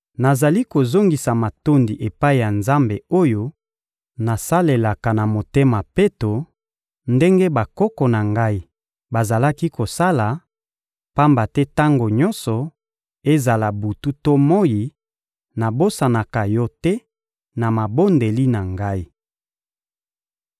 Nazali kozongisa matondi epai ya Nzambe oyo nasalelaka na motema peto ndenge bakoko na ngai bazalaki kosala, pamba te tango nyonso, ezala butu to moyi, nabosanaka yo te na mabondeli na ngai.